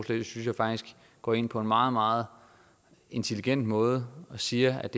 synes jeg faktisk går ind på en meget meget intelligent måde og siger at